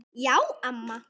Já, amma.